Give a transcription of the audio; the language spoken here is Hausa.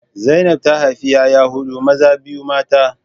Zainab ta haifi 'ya'ya hudu, maza biyu mata